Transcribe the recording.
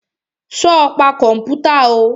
Sọ pa kọ̀mpútà o?